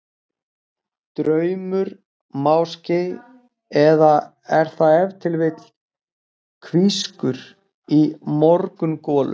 Draumur máske, eða er það ef til vill hvískur í morgungolu?